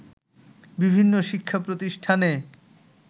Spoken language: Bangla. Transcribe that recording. বিভিন্ন শিক্ষাপ্রতিষ্ঠানে